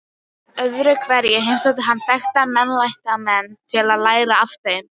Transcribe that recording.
Öðruhverju heimsótti hann þekkta meinlætamenn til að læra af þeim.